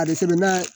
A bɛ sɛbɛnna